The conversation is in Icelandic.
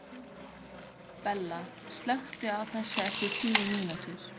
Bella, slökktu á þessu eftir níu mínútur.